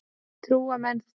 Trúa menn því?